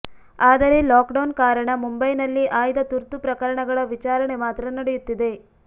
ಆದರೆ ಲಾಕ್ಡೌನ್ ಕಾರಣ ಮುಂಬೈನಲ್ಲಿ ಆಯ್ದ ತುರ್ತು ಪ್ರಕರಣಗಳ ವಿಚಾರಣೆ ಮಾತ್ರ ನಡೆಯುತ್ತಿದೆ